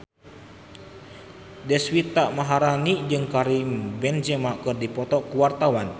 Deswita Maharani jeung Karim Benzema keur dipoto ku wartawan